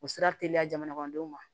U sira teliya jamanadenw ma